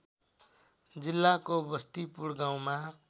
जिल्लाको बस्तीपुर गाउँमा